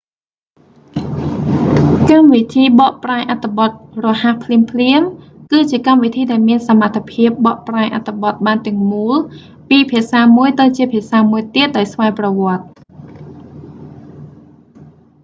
កម្មវិធីបកប្រែអត្ថបទរហ័សភ្លាមៗ គឺជាកម្មវិធីដែលមានសមត្ថភាពបកប្រែអត្ថបទបានទាំងមូល ពីភាសាមួយទៅជាភាសាមួយទៀតដោយស្វ័យប្រវត្តិ